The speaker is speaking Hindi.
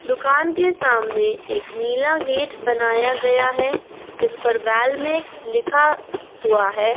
दुकान के सामने एक नीला गेट बनाया गया है जिस पर वॉलमैक्स लिखा हुआ है।